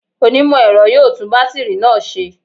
Onímọ̀-ẹ̀rọ yóò tún bátìrì náà ṣe